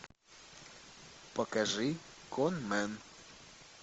покажи конмэн